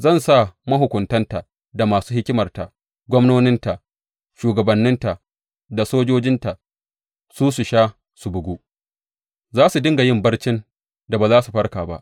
Zan sa mahukuntanta da masu hikimarta, gwamnoninta, shugabanninta da sojojinta su sha su bugu; za su dinga yin barcin da ba za su farka ba,